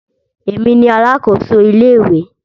Èmi ni alákòso ilé ìwé.